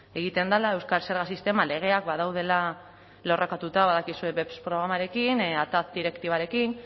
egiten dela euskal zerga sisteman legeak badaudela lerrokatuta badakizue beps programarekin atac direktibarekin